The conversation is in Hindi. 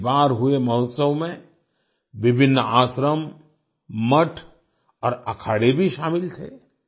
इस बार हुए महोत्सव में विभिन्न आश्रम मठ और अखाड़े भी शामिल थे